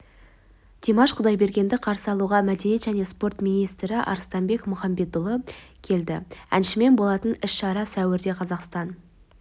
димаш құдайбергенді қарсы алуға мәдениет және спорт министрі арыстанбек мұхамедиұлы келді әншімен болатын іс-шара сәуірде қазақстан